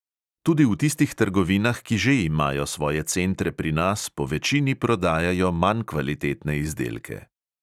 Tudi v tistih trgovinah, ki že imajo svoje centre pri nas, povečini prodajajo manj kvalitetne izdelke.